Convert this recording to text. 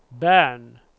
Bern